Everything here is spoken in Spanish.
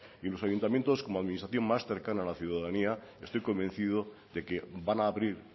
y los ayuntamientos como administración más cercana a la ciudadanía estoy convencido de que van a abrir